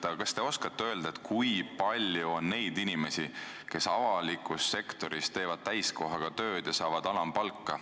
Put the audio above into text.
Aga kas te oskate öelda, kui palju on neid inimesi, kes avalikus sektoris teevad täiskohaga tööd ja saavad alampalka?